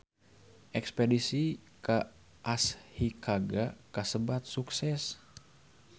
Espedisi ka Ashikaga kasebat sukses